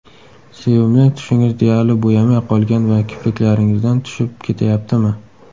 Sevimli tushingiz deyarli bo‘yamay qolgan va kipriklaringizdan tushib ketayaptimi?